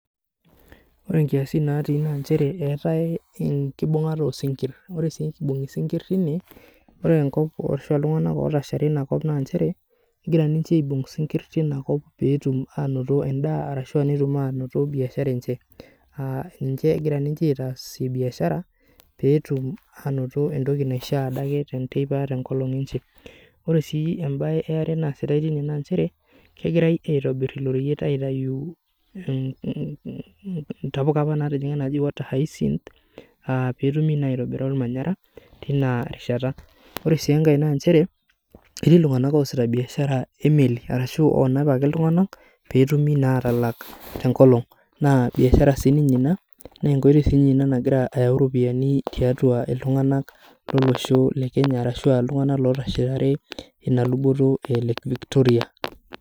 Ore nkiasin naati naa nchere eetae enkibungata isikir .Ore eibungi sinkir tine, ore ltunganak otashare inakop naa nchere, egira ninche aibung sinkir tina kop pee etum anoto endaa ashu netum anoto biashara enche .Aa ninche egira ninche aasie biashara pee etum entoki naishaa adake teneteipa tenkolong enteipa. Ore sii embae eare naasitae tine naa nchere kegirae aitobir ilo reyiet aitayu ntapuka apa naaji water hisense pee etumi naa aitobiraki ormanyera Tina rishata .Ore sii enkae naa nchere ,etii iltunganak oosita biashara emeli ashu loonap ake iltunganakpee eyumi naa atalak tenkolong naa biashara siininnye ina ,naa nekoitoi siininye ina nagira ayau ropiyiani tiatua iltunganak lolosho lekenya ashua iltunganak otashare ina luboto e lake Victoria.